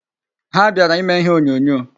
Ha bịara ime ihe onyonyo.